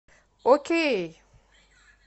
окей